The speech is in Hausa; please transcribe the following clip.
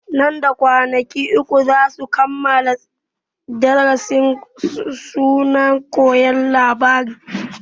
Nan da kwanaki uku zasu kammala darasin su na koyon harshen larabci